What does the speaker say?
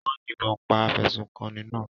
Wọ́n yìnbọn pa afẹ̀sùnkanni náà.